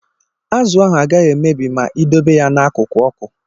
Azụ ahụ agaghị emebi ma ịdobe ya n'akụkụ ọkụ.